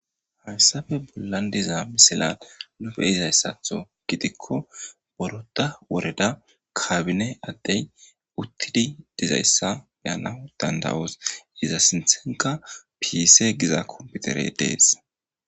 Haysafe bolan diza misilan nu koyizaysatho gidiko boroda woreda kabine adey utidi dizaysa be'nawsu dand'os iza sinthanka pisi giza kompetire dese